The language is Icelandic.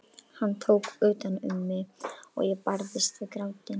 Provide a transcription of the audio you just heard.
Hann tók utan um mig og ég barðist við grátinn.